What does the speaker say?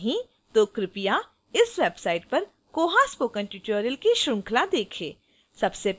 यदि नहीं तो कृपया इस website पर koha spoken tutorial की श्रृंखला देखें